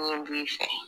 Mun b'i fɛ